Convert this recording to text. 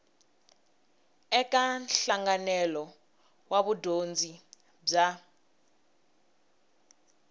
eka nhlanganelo wa vudyondzi bya